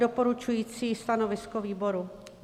Doporučující stanovisko výboru.